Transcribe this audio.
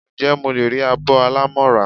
Njé mo le ri abó alámo ra?